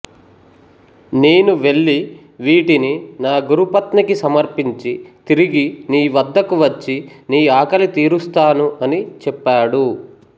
నేను వెళ్ళి వీటిని నా గురుపత్నికి సమర్పించి తిరిగి నీ వద్దకు వచ్చి నీ ఆకలి తీరుస్తాను అని చెప్పాడు